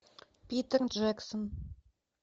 питер джексон